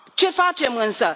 Ce facem însă?